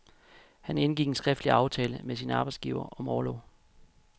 Han indgik en skriftlig aftale med sin arbejdsgiver om orlov.